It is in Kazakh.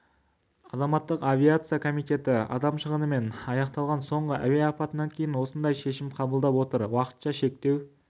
азаматтық авиация комитеті адам шығынымен аяқталған соңғы әуе апатынан кейін осындай шешім қабылдап отыр уақытша шектеу